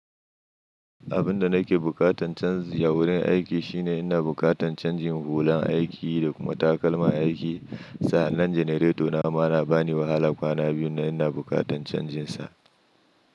Abin da nake bukatan canzi a wurin aiki shine ina bukatan canjin hulan aiki da kuma takalma aiki. Sa'anan janareto na ma na bani wahala kwana biyu na ina bukatan canjinsa.